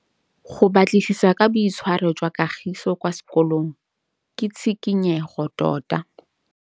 Go batlisisa ka boitshwaro jwa Kagiso kwa sekolong ke tshikinyêgô tota.